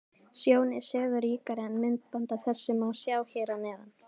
Sjón er sögu ríkari en myndband af þessu má sjá hér að neðan.